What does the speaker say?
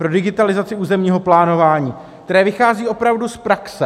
Pro digitalizaci územního plánování, které vychází opravdu z praxe.